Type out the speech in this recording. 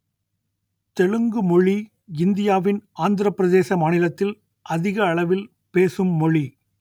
தெலுங்கு மொழி இந்தியாவின் ஆந்திரப் பிரதேச மாநிலத்தில் அதிக அளவில் பேசும் மொழி